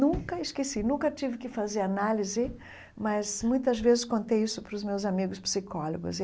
Nunca esqueci, nunca tive que fazer análise, mas muitas vezes contei isso para os meus amigos psicólogos.